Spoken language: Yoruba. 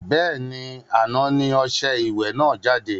Bẹ́ẹ̀ni, àná ni ọṣẹ ìwẹ̀ náà jáde